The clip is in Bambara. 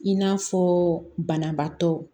I n'a fɔ banabaatɔ